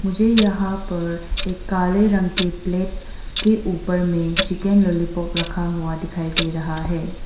मुझे यहां पर एक काले रंग के प्लेट के उपर में चिकन लालीपप रखा हुआ दिखायी दे रहा है।